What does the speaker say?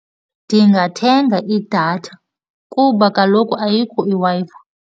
Ndingathenga idatha kuba kaloku ayikho iWi-Fi.